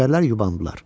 Nökərlər yubandılar.